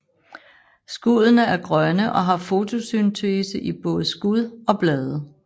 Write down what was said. Skuddene er grønne og har fotosyntese i både skud og blade